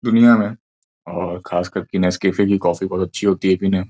दुनिया में और खास कर के नेस कैफे की कॉफी बहुत अच्छी होती है पीने।